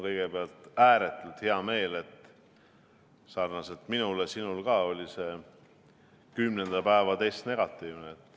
Kõigepealt on mul ääretult hea meel, et sarnaselt minuga oli ka sinul 10. päeva test negatiivne.